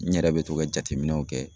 N yɛrɛ bɛ to ka jateminɛw kɛ.